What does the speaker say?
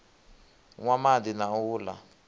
nwa madi na u la